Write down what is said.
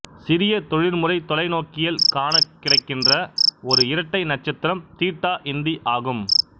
சிறிய தொழிற்முறை தொலைநோக்கியில் காணக் கிடைக்கின்ற ஒரு இரட்டை நட்சத்திரம் தீட்டா இந்தி ஆகும்